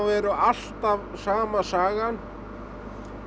er alltaf sama sagan